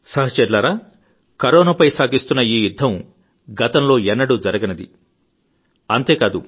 సహచరులారా కరోనాపై సాగిస్తున్న ఈ యుద్ధం గతంలో ఎన్నడూ జరగనిది అంతేకాదు